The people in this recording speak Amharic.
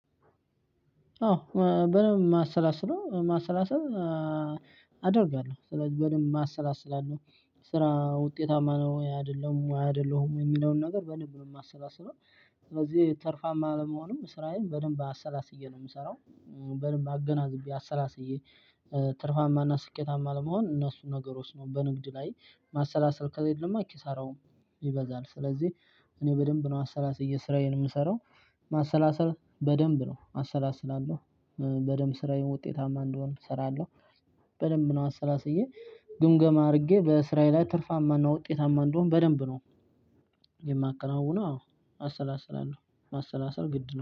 አዎ በደንብ ማሰላስለው። ማሰላሰል አደርጋለሁ ስለዚህ በደንብ አሰላስላለሁ። ስራ ውጤታማ ነው ወይ አይደለም ወይ አይደለሁም የሚለውን ነገር በደንብ ነው ማሰላሰለው። ስለዚህ ትርፋማ ለመሆንም ስራዬን በደንብ አሰላስዬ ነው የምሰራው። በደንብ አገናዝቤ አሰላስዬ ትርፋማና ስኬታማ ለመሆን እነሱን ነገሮች ነው በንግድ ላይ ማሰላሰል ከሌለማ ኪሳራውም ይበዛል ስለዚህ እኔ በደንብ ነው አሰላስብ ስራዬን የምሰራው። ማሰላሰል በደንብ ነው አሰላስላለሁ። በደንብ ስራዬ ውጤታማ እንዲሆን እሰራለሁ። በደንብ ነው አሰላስዬ ግምገማ አድርጌ በስራዬ ላይ ትርፋማና ውጤታማ እንደሆነ በደንብ ነው የማከናውነው አዎ አሰላስላለሁ። ማሰላሰል ግድ ነው።